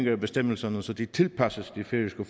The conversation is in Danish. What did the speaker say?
af bestemmelserne så de tilpasses de færøske